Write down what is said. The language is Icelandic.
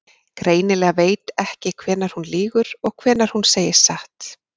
Greinilega veit ekki hvenær hún lýgur og hvenær hún segir satt.